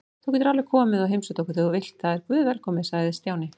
Þú getur alveg komið og heimsótt okkur þegar þú vilt, það er guðvelkomið sagði Stjáni.